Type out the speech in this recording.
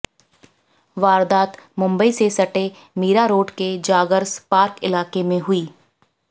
वारदात मुंबई से सटे मीरारोड के जागर्स पार्क इलाके में हुई